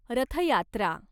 रथ यात्रा